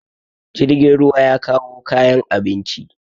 jirgin ruwa ya kawo kayan abinci